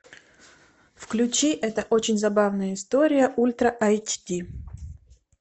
включи это очень забавная история ультра эйч ди